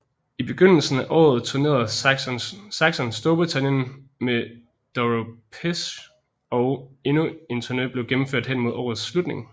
I begyndelsen af året turnerede Saxon Storbritannien med Doro Pesch og endnu en turne blev gennemført hen mod årets slutning